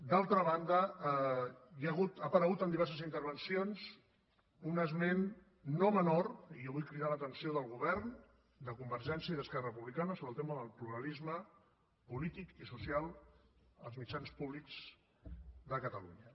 d’altra banda ha aparegut en diverses intervencions un esment no menor i jo vull cridar l’atenció del govern de convergència i d’esquerra republicana sobre el tema del pluralisme polític i social als mitjans públics de catalunya